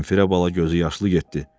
Zenfira bala gözü yaşlı getdi.